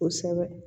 Kosɛbɛ